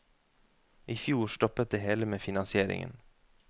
I fjor stoppet det hele med finansieringen.